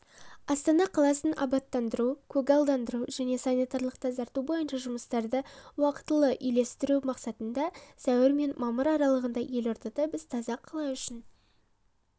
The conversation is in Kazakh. астана қаласын абаттандыру көгалдандыру және санитарлық тазарту бойынша жұмыстарды уақытылы үйлестіру мақсатында сәуір мен мамыр аралығында елордада біз таза қала үшін